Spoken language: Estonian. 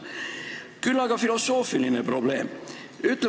Küll aga on filosoofiline probleem.